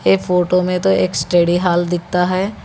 ये फोटो में तो एक स्टडी हाल दिखता है।